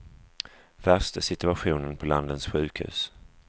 Värst är situationen på landets sjukhus.